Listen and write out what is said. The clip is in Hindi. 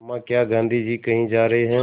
अम्मा क्या गाँधी जी कहीं जा रहे हैं